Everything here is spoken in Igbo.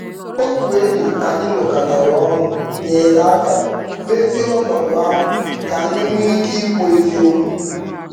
Otu enyi anyị nwekọtara ọnụ nyere aka mezie ọnọdụ ahụ ka anyị nwee ike ikwu eziokwu.